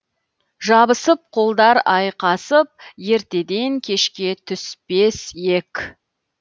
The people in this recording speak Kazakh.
жабысып қолдар айқасып ертеден кешке түспес ек